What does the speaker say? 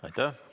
Aitäh!